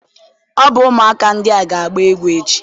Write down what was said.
Ọ bụ ụmụaka ndị a ga-agba egwu echi?